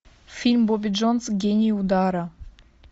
фильм бобби джонс гений удара